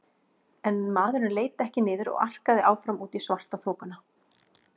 En maðurinn leit ekki niður og arkaði áfram út í svartaþokuna.